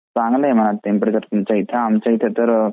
चांगला आहे ना मग टेम्परेचर तुमचा इकडं आमचा इथं तर .